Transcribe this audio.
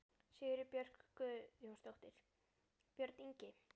Sigríður Björk Guðjónsdóttir: Björn Ingi?